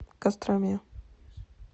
костроме